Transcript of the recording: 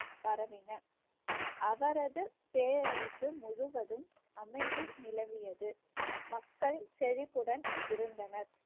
பரவின அவரது பேரரசு முழுவதும் அமைதி நிலவியது மக்கள் செழிப்புடன் இருந்தனர்